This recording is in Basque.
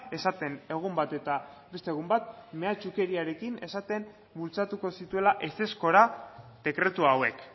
esaten egun bat eta beste egun bat mehatxukeriarekin esaten bultzatuko zituela ezezkora dekretu hauek